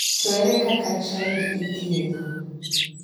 To ere kaka chILD ithiedho?